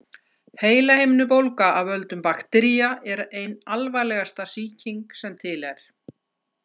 Heilahimnubólga af völdum baktería er ein alvarlegasta sýking sem til er.